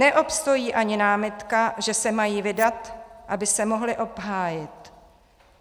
Neobstojí ani námitka, že se mají vydat, aby se mohli obhájit.